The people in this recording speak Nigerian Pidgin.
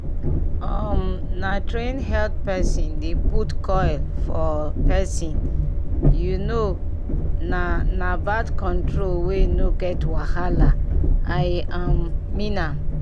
um na train health pesin dey put coil for pesin u know na na birth control wey no get wahala i um mean am